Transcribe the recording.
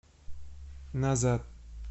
назад